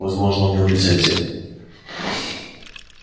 возможно у него лицензия